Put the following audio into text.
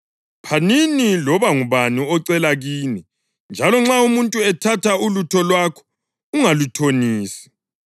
Phanini loba ngubani ocela kini, njalo nxa umuntu ethatha ulutho lwakho ungaluthonisi.